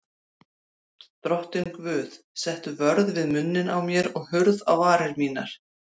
Drottinn Guð, settu vörð við munninn á mér og hurð á varir mínar.